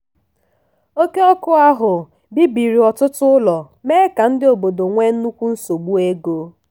oke ọkụ ahụ bibiri ọtụtụ ụlọ mee ka ndị obodo nwee nnukwu nsogbu ego.